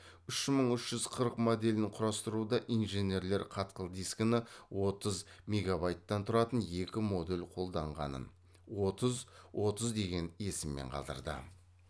үш мың үш жүз қырық моделін құрастыруда инженерлер қатқыл дискіні отыз мегабайттан тұратын екі модуль қолданғанын отыз отыз деген есіммен қалдырды